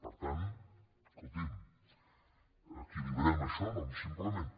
per tant escoltin equilibrem això simplement